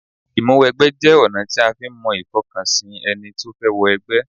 Ìmúwẹgbẹ́ jẹ́ ọ̀nà tí a fi ń mọ ìfọkànsìn ẹni tó fẹ́ wọ ẹgbẹ́